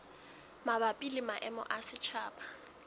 mabapi le maemo a setjhaba